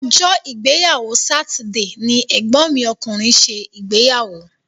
Ọjọ́ ìgbéyàwó sátidé ni ẹ̀gbọ́n mi ọkùnrin ṣe ìgbéyàwó.